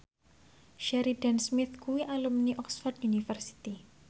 Sheridan Smith kuwi alumni Oxford university